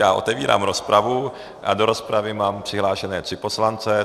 Já otevírám rozpravu a do rozpravy mám přihlášené tři poslanci.